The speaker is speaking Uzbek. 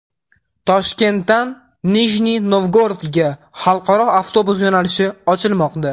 Toshkentdan Nijniy Novgorodga xalqaro avtobus yo‘nalishi ochilmoqda.